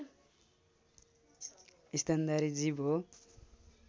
स्तनधारी जीव हो